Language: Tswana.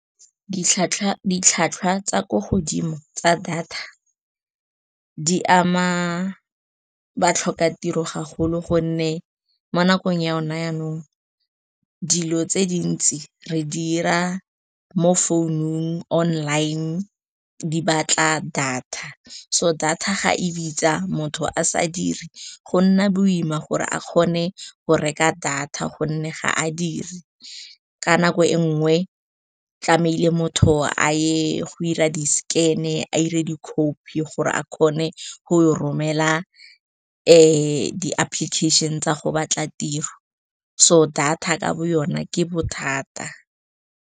Ditlhwatlhwa tsa kwa godimo tsa data di ama batlhoka tiro go golo, gonne mo nakong ya gona yanong dilo tse dintsi re di 'ira mo founung online di batla data. So data ga e bitsa, motho a sa diri go nna boima gore a kgone go reka data gonne ga a dire ka nako e nngwe tlamehile motho a ye go 'ira di-scan-e, a 'ire di-copy gore a kgone go romela di-application tsa go batla tiro. So data ka bo yona ke bothata.